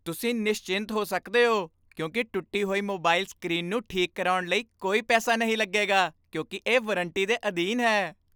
ਤੁਸੀਂ ਨਿਸਚਿੰਤ ਹੋ ਸਕਦੇ ਹੋ ਕਿਉਂਕਿ ਟੁੱਟੀ ਹੋਈ ਮੋਬਾਈਲ ਸਕ੍ਰੀਨ ਨੂੰ ਠੀਕ ਕਰਾਉਣ ਲਈ ਕੋਈ ਪੈਸਾ ਨਹੀਂ ਲੱਗੇਗਾ ਕਿਉਂਕਿ ਇਹ ਵਾਰੰਟੀ ਦੇ ਅਧੀਨ ਹੈ।